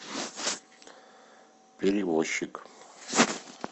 перевозчик